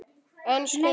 En Skundi!